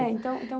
É então então